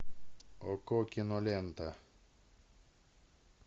окко кинолента